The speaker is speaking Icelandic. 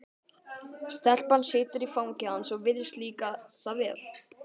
Stelpan situr í fangi hans og virðist líka það vel.